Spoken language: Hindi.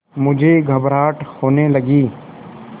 मुझे घबराहट होने लगी